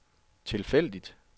tilfældigt